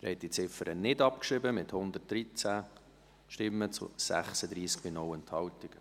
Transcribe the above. Sie haben diese Ziffer nicht abgeschrieben, mit 113 zu 36 Stimmen bei 0 Enthaltungen.